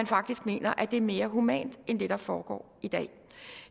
faktisk mener at det er mere humant end det der foregår i dag